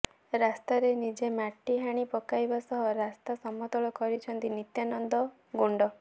ରାସ୍ତାରେ ନିଜେ ମାଟି ହାଣି ପକାଇବା ସହ ରାସ୍ତା ସମତଳ କରିଛନ୍ତି ନିତ୍ୟାନନ୍ଦ ଗୋଣ୍ଡ